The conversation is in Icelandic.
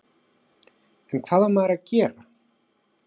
En hvað á maður að gera?